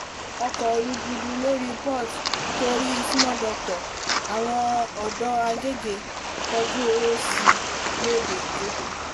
ọkọ̀ rúgúdù lórí port torí small doctor àwọn ọ̀dọ́ agege kọjú ọ̀rọ̀ sí i lóde ìjọ